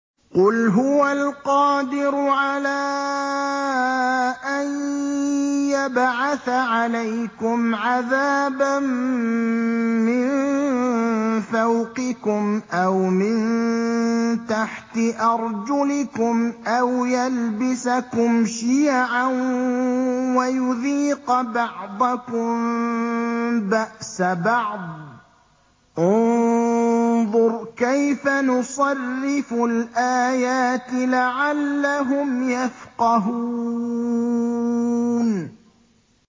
قُلْ هُوَ الْقَادِرُ عَلَىٰ أَن يَبْعَثَ عَلَيْكُمْ عَذَابًا مِّن فَوْقِكُمْ أَوْ مِن تَحْتِ أَرْجُلِكُمْ أَوْ يَلْبِسَكُمْ شِيَعًا وَيُذِيقَ بَعْضَكُم بَأْسَ بَعْضٍ ۗ انظُرْ كَيْفَ نُصَرِّفُ الْآيَاتِ لَعَلَّهُمْ يَفْقَهُونَ